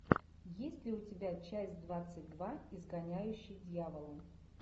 есть ли у тебя часть двадцать два изгоняющий дьявола